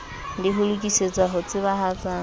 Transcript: le ho lokisetsa ho tsebahatsa